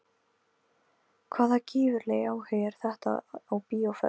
Hvaða gífurlegi áhugi er þetta á bíóferð?